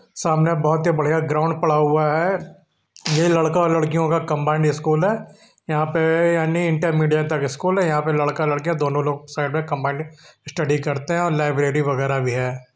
सामने बहुत ही बढियाँ ग्राउंड पड़ा हुआ है। ये लड़का और लड़कियों का कम्बाइंड स्कूल है यहाँ पे यानि इंटरमीडिएट तक स्कूल है | यहाँ पर लड़का लड़कियां दोनों लोग साइड में कम्बाइन स्टडी करते हैं और लाइब्रेरी वगैरह भी है ।